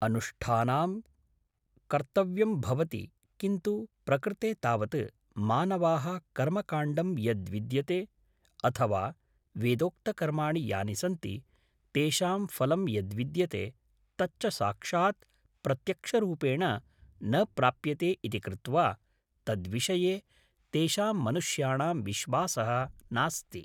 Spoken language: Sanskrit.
अनुष्ठानं कर्तव्यं भवति किन्तु प्रकृते तावत् मानवाः कर्मकाण्डं यद्विद्यते अथवा वेदोक्तकर्माणि यानि सन्ति तेषां फलं यद्विद्यते तच्च साक्षात् प्रत्यक्षरूपेण न प्राप्यते इति कृत्वा तद्विषये तेषां मनुष्याणां विश्वासः नास्ति